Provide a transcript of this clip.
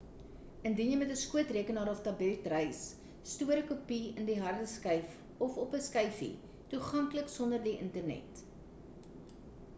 indien jy met ‘n skootrekenaar of tablet reis stoor ‘n kopie in die hardeskyf of op ‘n skyfie toeganklik sonder die internet